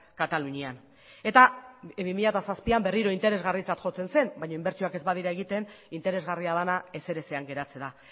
katalunian eta bi mila zazpian berriro interesgarritzat jotzen zen baina inbertsioak ez badira egiten interesgarria dena ezer ezean geratzen da